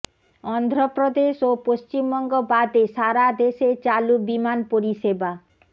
অন্ধ্রপ্রদেশ ও পশ্চিমবঙ্গ বাদে সারা দেশে চালু বিমান পরিষএবা